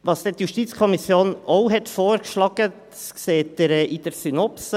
Was dann die JuKo auch vorgeschlagen hat, sehen Sie in der Synopse: